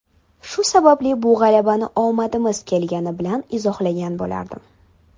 Shu sababli bu g‘alabani omadimiz kelgani bilan izohlagan bo‘lardim.